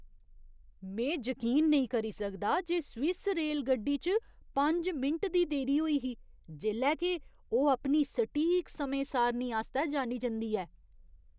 में जकीन नेईं करी सकदा जे स्विस रेलगड्डी च पंज मिंट दी देरी होई ही जेल्लै के ओह् अपनी सटीक समें सारनी आस्तै जानी जंदी ऐ।